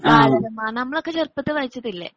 ബാലരമ നമ്മളൊക്കെ ചെറുപ്പത്തിൽ വായിച്ചതില്ലേ?